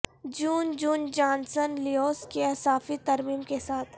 جون John Johnson Lewis کی اضافی ترمیم کے ساتھ